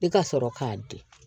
I ka sɔrɔ k'a di